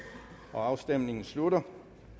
afstemningen slutter